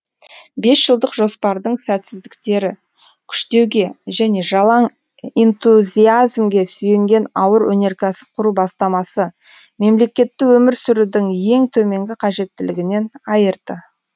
бесжылдық жоспардың сәтсіздіктері күштеуге және жалаң энтузиазмге сүйенген ауыр өнеркәсіп құру бастамасы мемлекетті өмір сүрудің ең төменгі қажеттілігінен айырды